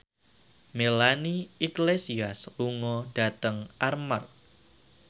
Melanie Iglesias lunga dhateng Armargh